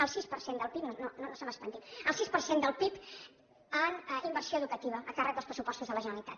al sis per cent del pib no se m’espantin al sis per cent del pib en inversió educativa a càrrec dels pressupostos de la generalitat